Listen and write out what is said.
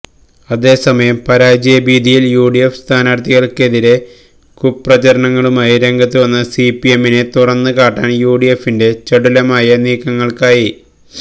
അതേ സമയം പരാജയ ഭീതിയില് യുഡിഎഫ് സ്ഥാനാര്ഥിക്കെതിരെ കുപ്രചാരണങ്ങളുമായി രംഗത്തു വന്ന സിപിഎമ്മിനെ തുറന്നു കാട്ടാന് യുഡിഎഫിന്റെ ചടുലമായ നീക്കങ്ങള്ക്കായി